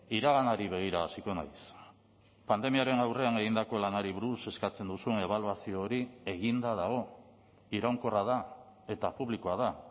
iraganari begira hasiko naiz pandemiaren aurrean egindako lanari buruz eskatzen duzun ebaluazio hori eginda dago iraunkorra da eta publikoa da